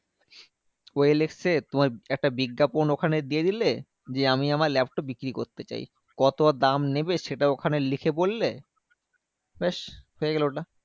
ও L X এ তোমার একটা বিজ্ঞাপন ওখানে দিয়ে দিলে। দিয়ে আমি আমার laptop বিক্রি করতে চাই। কত আর দাম নেবে? সেটা ওখানে লিখে বললে। ব্যাস হয়ে গেলো ওটা।